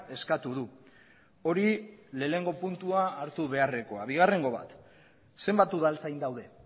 eskatu du hori lehenengo puntua hartu beharrekoa bigarrengo bat zenbat udaltzain daude